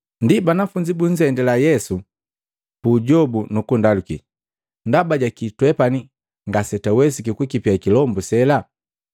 Ndi banafunzi bunzendila Yesu puujobu, nukundaluki, “Ndaba jaki twepani ngasetwawesiki kukipia kilombu sela?”